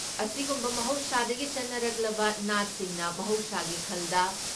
ꯑꯁꯤꯒꯨꯝꯕ ꯃꯍꯧꯁꯥꯗꯒꯤ ꯆꯠꯅꯔꯛꯂꯕ ꯅꯥꯠꯁꯤꯡꯅ ꯃꯍꯧꯁꯥꯒꯤ ꯈꯜꯗ